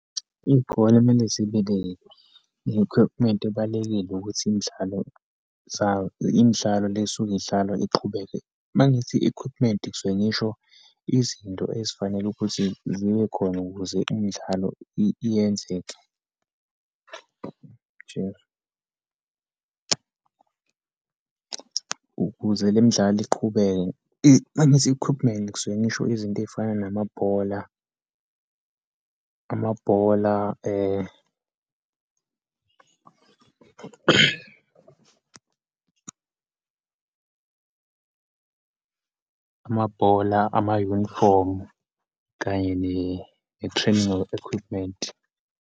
Iyikole kumele zibe ne ne-equipment ebalulekile ukuthi imidlalo , imidlalo le esuke idlalwa iqhubeke. Uma ngithi equipment ngisuke ngisho izinto ezifanele ukuthi zibe khona ukuze imidlalo iyenzeke, ukuze le midlalo iqhubeke. Uma ngithi equipment ngisuke ngisho izinto eyifana namabhola, amabhola amabhola, ama-unifomu, kanye ne-training equipment.